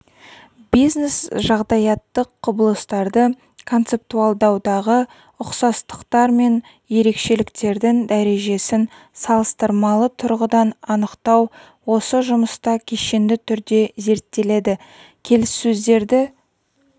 бизнес-жағдаяттық құбылыстарды концептуалдаудағы ұқсастықтар мен ерекшеліктердің дәрежесін салыстырмалы тұрғыдан анықтау осы жұмыста кешенді түрде зерттеледі келіссөздерді